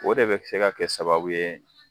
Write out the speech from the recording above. O de bɛ se ka kɛ sababu ye